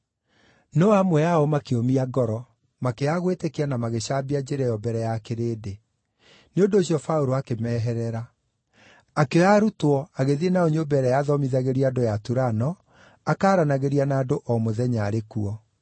No amwe ao makĩũmia ngoro; makĩaga gwĩtĩkia na magĩcambia Njĩra ĩyo mbere ya kĩrĩndĩ. Nĩ ũndũ ũcio Paũlũ akĩmeherera. Akĩoya arutwo agĩthiĩ nao nyũmba ĩrĩa yathomithagĩrio andũ ya Turano, akaaranagĩria na andũ o mũthenya arĩ kuo.